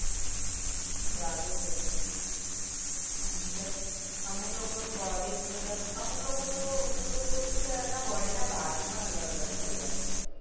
ચાલુજ હયશે મતલબ અમુક લોકો નું body જ અમુક લોકો તો મતલબ ઓલું શું કેવાય એમના body ના parts પણ અલગ અલગ થય ગયા હતા